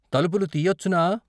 తలుపులు తీయచ్చునా?